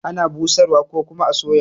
Ana busar wa ko kuma a soya.